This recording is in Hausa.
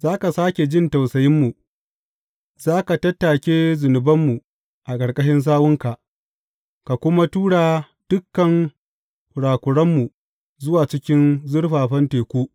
Za ka sāke jin tausayinmu; za ka tattake zunubanmu a ƙarƙashin sawunka ka kuma tura dukan kurakuranmu zuwa cikin zurfafan teku.